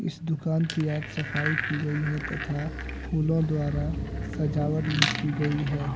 इस दुकान की आज सफाई की गई है तथा फूलों द्वारा सजावट भी की गई है।